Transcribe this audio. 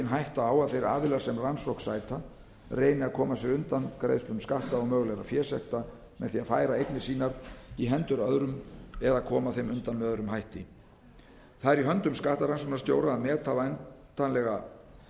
hætta á að þeir aðilar sem rannsókn sæta reyni að koma sér undan greiðslum skatta og mögulegra fésekta með því að færa eignir sínar í hendur öðrum eða koma þeim undan með öðrum hætti það er í höndum skattrannsóknarstjóra að